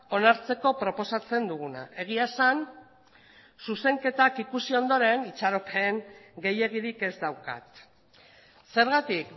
onartzeko proposatzen duguna egia esan zuzenketak ikusi ondoren itxaropen gehiegirik ez daukat zergatik